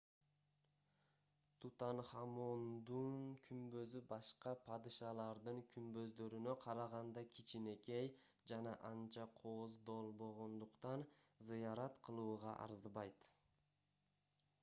тутанхамондун күмбөзү башка падышалардын күмбөздөрүнө караганда кичинекей жана анча кооздолбогондуктан зыярат кылууга арзыбайт